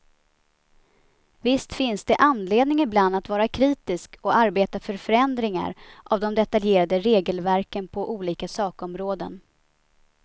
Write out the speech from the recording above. Visst finns det anledning ibland att vara kritisk och arbeta för förändringar av de detaljerade regelverken på olika sakområden.